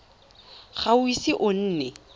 ga o ise o nne